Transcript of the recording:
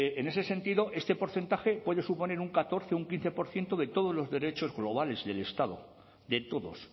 en ese sentido este porcentaje puede suponer un catorce o un quince por ciento de todos los derechos globales del estado de todos